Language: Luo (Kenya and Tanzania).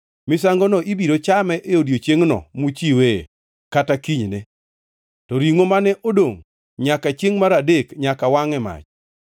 Misangono ibiro chame e odiechiengno muchiwee kata kinyne, to ringʼo mane odongʼ nyaka chiengʼ mar adek nyaka wangʼ e mach.